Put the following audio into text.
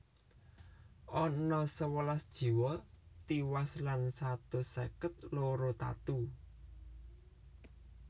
Ana sewelas jiwa tiwas lan satus seket loro tatu